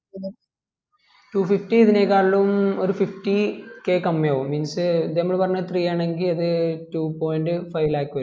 two fifty ഇതിനെകാളിയും ഒരു fifty k കമ്മിയാകും means ഇത് നമ്മള് പറഞ്ഞെ three ആണെങ്കി അത് two point five lakh വരും